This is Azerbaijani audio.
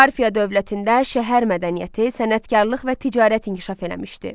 Parfiya dövlətində şəhər mədəniyyəti, sənətkarlıq və ticarət inkişaf eləmişdi.